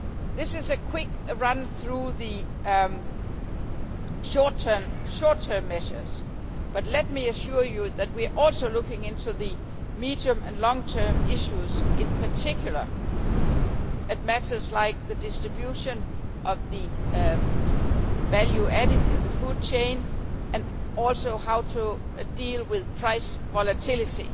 This is a quick run through of the short term measures, but let me assure you that we are also looking into the medium and long term issues, in particular, at matters like the distribution of the value added in the food chain, and also how to deal with price volatility.